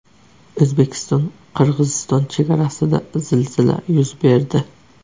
O‘zbekistonQirg‘iziston chegarasida zilzila yuz berdi.